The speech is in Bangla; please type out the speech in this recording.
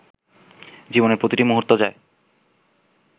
জীবনের প্রতিটি মুহূর্ত যায়